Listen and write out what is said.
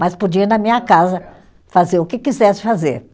mas podia ir na minha casa fazer o que quisesse fazer.